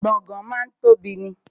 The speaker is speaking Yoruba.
Gbọ̀ngán máa ń tóbi ni